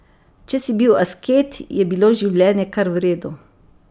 Če si bil asket, je bilo življenje kar v redu.